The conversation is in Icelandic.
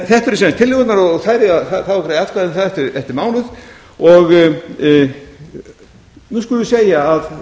þetta eru sem sagt tillögurnar og það á að fara að greiða atkvæði um það eftir mánuð nú skulum við segja að